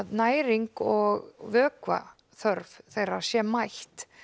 næring og vökvaþörf þeirra sé mætt